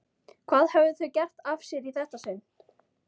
Hvað höfðu þau gert af sér í þetta sinn?